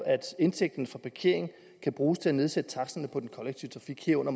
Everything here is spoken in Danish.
indtægten fra parkering kan bruges til at nedsætte taksterne på den kollektive trafik herunder